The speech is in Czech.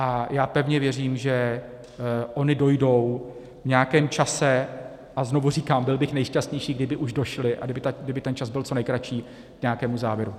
A já pevně věřím, že ony dojdou v nějakém čase - a znovu říkám, byl bych nejšťastnější, kdyby už došly a kdyby ten čas byl co nejkratší - k nějakému závěru.